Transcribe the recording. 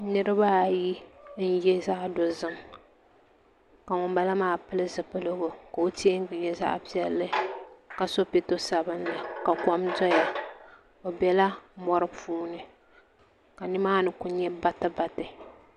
Niraba ayi n yɛ zaɣ dozim ka ŋunbala maa pili zipiligu ka o teengi nyɛ zaɣ piɛlli ka so pɛto sabinli ka kom doya bi biɛla mori puuni ka nimaani ku nyɛ bati bati